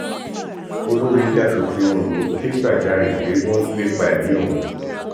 olórí ilé asòfin ondo ké gbàjarèpé wọn ń lépa ẹmí òun